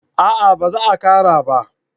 A'a ba za a kara ba